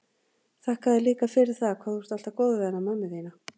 Þakka þér líka fyrir það hvað þú ert alltaf góður við hana mömmu þína.